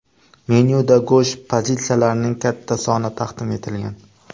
Menyuda go‘sht pozitsiyalarining katta soni taqdim etilgan.